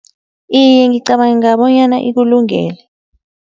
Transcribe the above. Iye ngicabanga bonyana ikulungele.